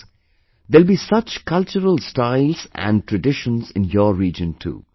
Friends, there will be such cultural styles and traditions in your region too